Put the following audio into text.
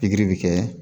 Pikiri bɛ kɛ